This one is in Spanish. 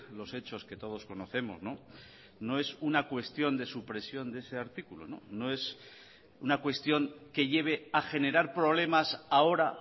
los hechos que todos conocemos no es una cuestión de supresión de ese artículo no es una cuestión que lleve a generar problemas ahora